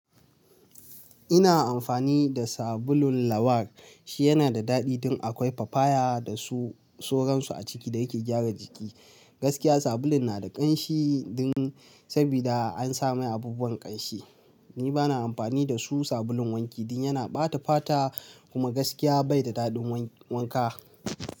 Ina amfani da sabulun lawar shi yana da daɗi don akwai su papaya dasu sauran su a ciki da yake gyara jiki. Gaskiya sabulun na da ƙanshi dun sabida an sa mai abubuwan ƙanshi. Ni bana amfani da su sabulun wanki dun yana ɓata fata kuma gaskiya bai da daɗin wan-wanka.